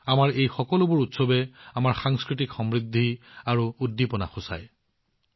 আমাৰ এই সকলোবোৰ উৎসৱ আমাৰ সাংস্কৃতিক সমৃদ্ধি আৰু জীৱন্ততাৰ সমাৰ্থক